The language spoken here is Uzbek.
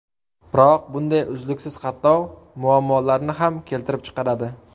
Biroq bunday uzluksiz qatnov muammolarni ham keltirib chiqaradi.